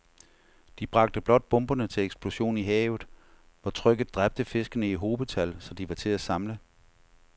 De bragte blot bomberne til eksplosion i havet, hvor trykket dræbte fiskene i hobetal, så de var til at samle